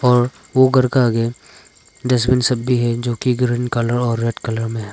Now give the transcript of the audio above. और वो घर का आगे डस्टबिन सब भी है जो कि ग्रीन कलर और रेड कलर में है।